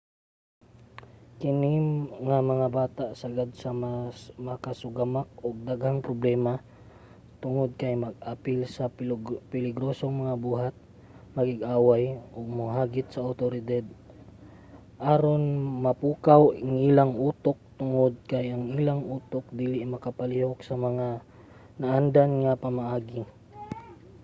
kini nga mga bata sagad nga makasugamak og daghang problema tungod kay mag-apil sa peligrosong mga buhat makig-away ug mohagit sa awtoridad aron mapukaw ang ilang utok tungod kay ang ilang utok dili mapalihok sa mga naandan nga pamaagi